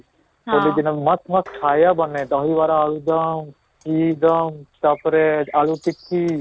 ହୋଲି ଦିନ ମସ୍ତ ମସ୍ତ ଖାଇବା ବନେ ଦହିବରା ଆଳୁଦମ କି ଦମ ତାପରେ ଆଳୁ